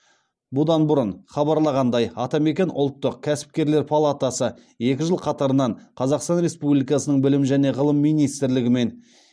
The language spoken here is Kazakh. бұдан бұрын хабарланғандай атамекен ұлттық кәсіпкерлер палатасы екі жыл қатарынан қазақстан республикасының білім және ғылым министрлігі мен